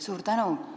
Suur tänu!